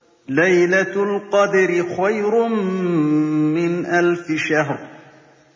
لَيْلَةُ الْقَدْرِ خَيْرٌ مِّنْ أَلْفِ شَهْرٍ